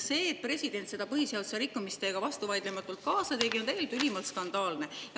See, et president seda põhiseaduse rikkumist teiega vastuvaidlematult kaasa tegi, on tegelikult ülimalt skandaalne.